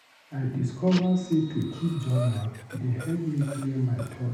I discover sey to keep journal dey help me clear my thoughts.